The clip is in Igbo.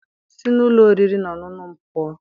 Si n'ụlọ oriri na ọṅụṅụ m pụọ!